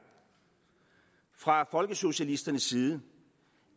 fra folkesocialisternes side